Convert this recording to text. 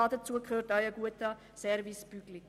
Dazu gehört auch ein guter Service Public.